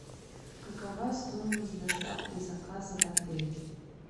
какова стоимость доставки заказа в отель